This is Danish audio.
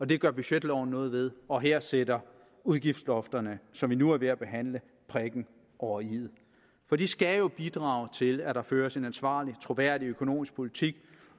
det gør budgetloven noget ved og her sætter udgiftslofterne som vi nu er ved at behandle prikken over iet for de skal jo bidrage til at der føres en ansvarlig troværdig økonomisk politik